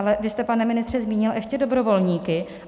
Ale vy jste, pane ministře, zmínil ještě dobrovolníky.